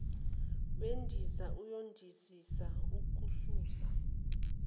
wendiza uyondizisa okususa